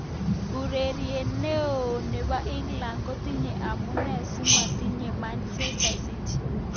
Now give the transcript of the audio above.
Ureriet neo nebo England kotinye amune simaityi Manchester city.